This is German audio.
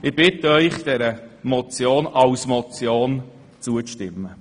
Ich bitte Sie, diesen Vorstoss als Motion zu überweisen.